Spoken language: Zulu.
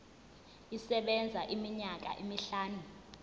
isebenza iminyaka emihlanu